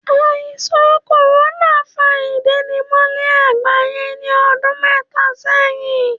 Àìsàn kòrónà fa ìsénimólé àgbáyé ní ọdún méta sẹ́yìn